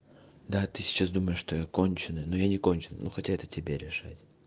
да ты сейчас думаешь что я конченый но я не конченный ну хотя это тебе решать